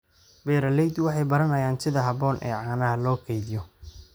Beeraleydu waxay baranayaan sida habboon ee caanaha loo kaydiyo.